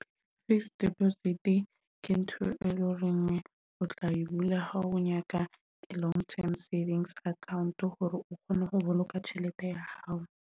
Fixed deposit ke ntho e le horeng o tla e bula ha o nyaka long term savings account hore o kgone ho boloka tjhelete ya hao.